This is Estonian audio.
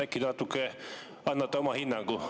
Äkki te annate oma hinnangu?